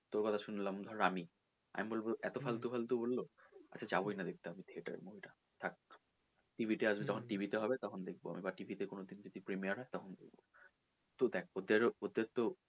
তোর কথা শুনলাম ধর আমি আমি বলবো এতো ফালতু ফালতু বললো আচ্ছা যাবই না দেখতে theater এ movie টা থাক TV তে আসবে বা যখন TV তে হবে দেখবো আমি বা TV তে কোনো দিন যদি premiur হয় তখন দেখব তো দেখ ওদের ওদের তো,